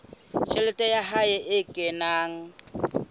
tjhelete ya hae e kenang